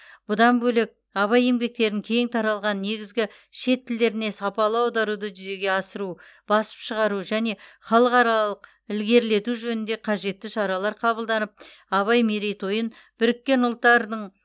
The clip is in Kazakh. бұдан бөлек абай еңбектерін кең таралған негізгі шет тілдеріне сапалы аударуды жүзеге асыру басып шығару және халықаралық ілгерілету жөнінде қажетті шаралар қабылданып абай мерейтойын біріккен ұлттардың